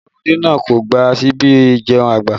Ẹnu ọmọdé náà kò gba síbi ìjẹun àgbà